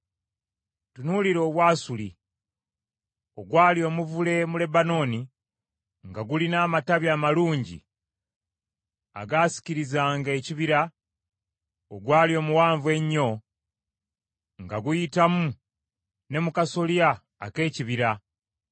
Tunuulira Obwasuli, ogwali omuvule mu Lebanooni, nga gulina amatabi amalungi agaasiikirizanga ekibira; ogwali omuwanvu ennyo, nga guyitamu ne mu kasolya ak’ekibira.